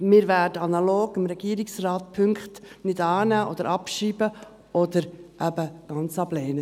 Wir werden, analog dem Regierungsrat, die Punkte nicht annehmen oder abschreiben oder eben ganz ablehnen.